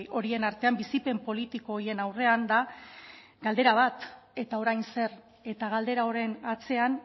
horien artean bizipen politiko horien aurrean da galdera bat eta orain zer eta galdera horren atzean